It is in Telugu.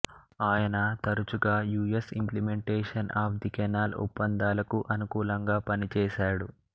ఆయన తరచుగా U S implementation of the canal ఒప్పందాలకు అనుకూలంగా పనిచేసాడు